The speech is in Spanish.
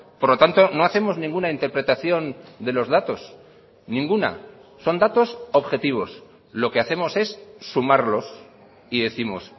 por lo tanto no hacemos ninguna interpretación de los datos ninguna son datos objetivos lo que hacemos es sumarlos y décimos